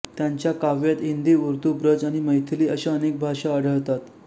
त्यांच्या काव्यात हिंदी उर्दू ब्रज आणि मैथिली अशा अनेक भाषा आढळतात